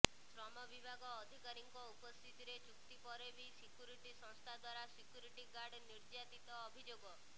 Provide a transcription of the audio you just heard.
ଶ୍ରମବିଭାଗ ଅଧିକାରୀଙ୍କ ଉପସ୍ଥିତିରେ ଚୁକ୍ତି ପରେବି ସିକ୍ୟୁରିଟି ସଂସ୍ଥା ଦ୍ୱାରା ସିକ୍ୟୁରିଟି ଗାର୍ଡ ନିର୍ଯ୍ୟାତିତ ଅଭିଯୋଗ